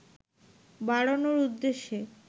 বাড়ানোর উদ্দেশ্যে